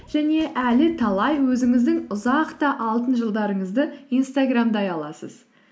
және әлі талай өзіңіздің ұзақ та алтын жылдарыңызды инстаграмдай аласыз